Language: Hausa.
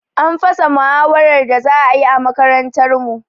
An fasa muhawarar da za ayi a makarantar mu